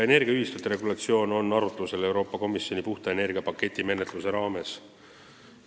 Energiaühistute regulatsioon on arutlusel Euroopa Komisjoni "Puhta energia" paketi menetluse raames.